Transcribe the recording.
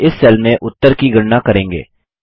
हम इस सेल में उत्तर की गणना करेंगे